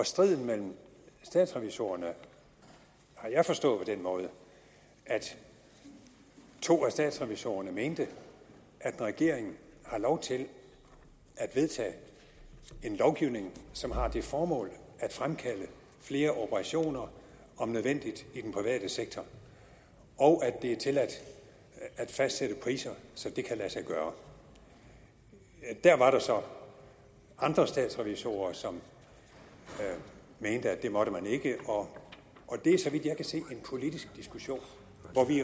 striden mellem statsrevisorerne har jeg forstået på den måde at to af statsrevisorerne mente at en regering har lov til at vedtage en lovgivning som har det formål at fremskaffe flere operationer om nødvendigt i den private sektor og at det er tilladt at fastsætte priser som det kan lade sig gøre der var så andre statsrevisorer som mente at det måtte man ikke og det er så vidt jeg kan se en politisk diskussion